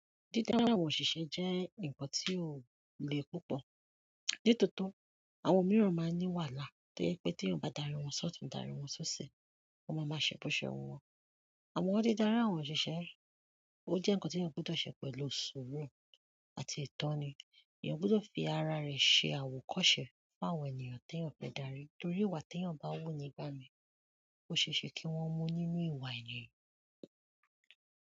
Dídá àwọn òṣìṣẹ́ jẹ́ ǹkan tí ò le púpọ̀. Ní tòótó, àwọn míràn máa ń ní wàhálà tó jé pé t'éyàn bá darí wọn s'ọ́òtún darí wọn s'ósì wọ́n ma ma ṣe b'óse wù wón. Àmón dídarí àwọn òṣìṣẹ́, ó jẹ́ ǹkan tí ẹ̀yàn gbúdọ̀ ṣe pẹ̀lú sùúrù àti ìtọ́ni. Èyàn gbúdò fi ara rè se àwòkóse fún àwọn ènìyàn tí èyàn fé darí, torí ìwà t'èyàn bá wù nígbà míì óseése kí wón mú nínú ìwà yen.